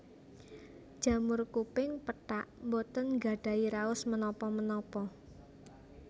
Jamur kuping pethak boten nggadhahi raos menapa menapa